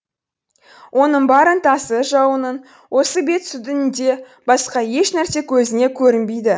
оның бар ынтасы жауының осы бет сүдінінде басқа ешнәрсе көзіне көрінбейді